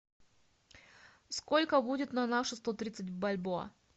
сколько будет на наши сто тридцать бальбоа